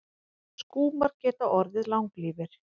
Skúmar geta orðið langlífir.